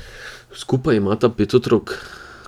Skupaj imata pet otrok.